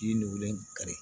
Ji nugulen kari